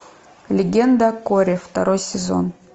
легенда о корре второй сезон